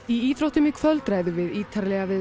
í íþróttum í kvöld ræðum við ítarlega við